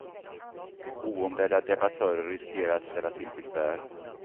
Oombedda debattörer riskerar att ställa till besvär.